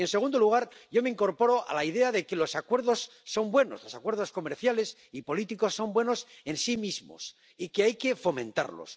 Y, en segundo lugar, yo me incorporo a la idea de que los acuerdos son buenos los acuerdos comerciales y políticos son buenos en sí mismos y hay que fomentarlos